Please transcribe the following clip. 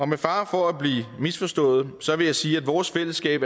med fare for at blive misforstået vil jeg sige at vores fællesskab